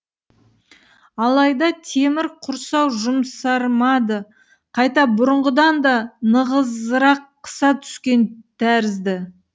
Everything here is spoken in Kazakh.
алайда темір құрсау жұмсармады қайта бұрынғыдан да нығызырақ қыса түскен тәрізді